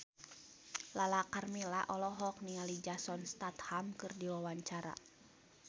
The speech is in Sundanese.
Lala Karmela olohok ningali Jason Statham keur diwawancara